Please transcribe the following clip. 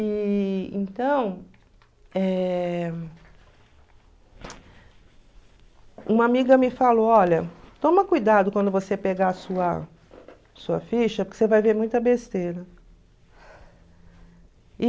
E então, eh uma amiga me falou, olha, toma cuidado quando você pegar sua sua ficha, porque você vai ver muita besteira.